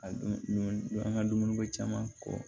A don an ka dumuniko caman kɔ